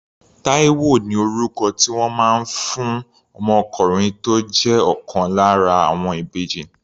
Taiwo ni orúkọ tí wọ́n fún ọmọkùnrin tó jẹ́ ọ̀kan lára àwọn ìbejì.